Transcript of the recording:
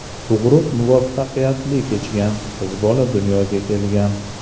Tug‘ruq muvaffaqiyatli kechgan, qiz bola dunyoga kelgan.